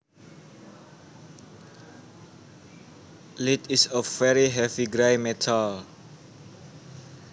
Lead is a very heavy gray metal